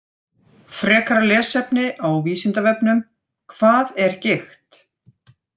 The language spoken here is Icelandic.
Frekara lesefni á Vísindavefnum Hvað er gigt?